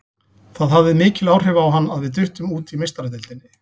Það hafði mikil áhrif á hann að við duttum út í Meistaradeildinni.